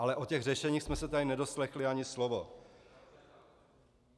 Ale o těch řešením jsme se tady nedoslechli ani slovo.